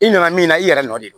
I nana min na i yɛrɛ nɔ de don